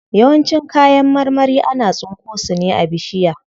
Yawancin kayan marmari ana tsinko su ne a bishiya.